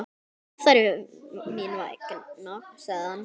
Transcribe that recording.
Óþarfi mín vegna, sagði hann.